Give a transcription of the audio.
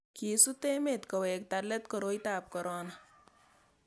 kisut emet kowekta let koroitab korona